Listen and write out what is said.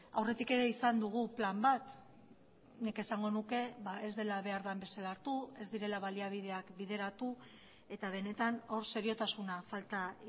aurretik ere izan dugu plan bat nik esango nuke ez dela behar den bezala hartu ez direla baliabideak bideratu eta benetan hor seriotasuna falta